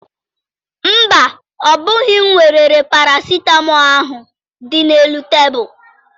Mba, ọ bụghị m weere parasịtamọọl ahụ dị n'elu tebulu.